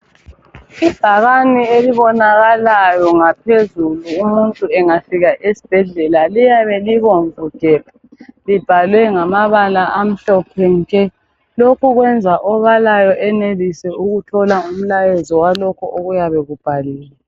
Ibhakane elibonakalayo ngaphezulu umuntu engafika esbhedlela liyabe libomvu gebhu, libhalwe ngamabala amhlophe nke. Lokhu kwenza obalayo enelise ukuthola umlayezo walokho okuyabe kubhaliwe.